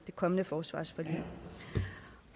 kommende forsvarsforlig